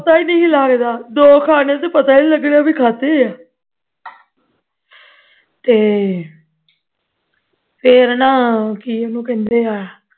ਪਤਾ ਹੀ ਨਹੀਂ ਲਗਣਾ ਦੋ ਖਾਨੇ ਤੇ ਪਤਾ ਹੀ ਨਹੀਂ ਲਗਣਾ ਕੇ ਖਾਂਦੇ ਹਾਂ ਤੇ ਫੇਰ ਨਾ ਕੀ ਉਹਨੂੰ ਕਹਿੰਦੇ ਆ